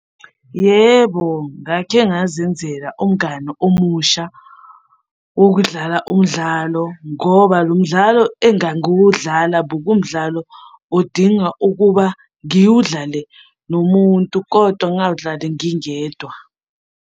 Yebo, ngake ngazenzela umngani omusha wokudlala umdlalo ngoba lo mdlalo engangiwudlala bekumdlalo odinga ukuba ngiwudlale nomuntu, kodwa ngingawudlali ngingedwa.